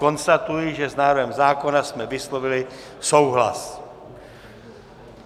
Konstatuji, že s návrhem zákona jsme vyslovili souhlas.